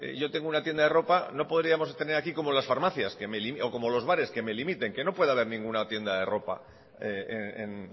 yo tengo una tienda de ropa no podríamos tener aquí como las farmacias o como los bares que me limiten que no pueda haber ninguna tienda de ropa en